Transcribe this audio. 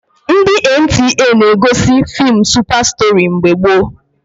Ndị NTA na-egosi feem Supa Stori mgbe gboo